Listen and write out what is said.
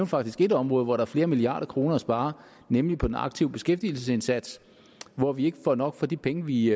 faktisk et område hvor der er flere milliarder kroner at spare nemlig på den aktive beskæftigelsesindsats hvor vi ikke får nok for de penge vi